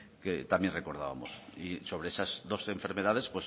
que también recordábamos y sobre esas dos enfermedades